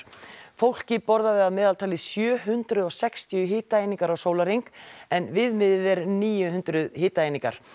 fólkið borðaði að meðaltali sjö hundruð og sextíu hitaeiningar á sólarhring en viðmiðið er níu hundruð hitaeiningar